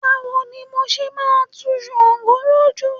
Báwo ni mo ṣe máa tu ṣàǹgó lójú.